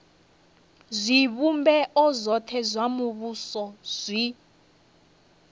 zwivhumbeo zwothe zwa muvhuso zwi